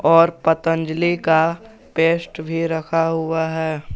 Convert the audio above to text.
और पतंजलि का पेस्ट भी रखा हुआ है।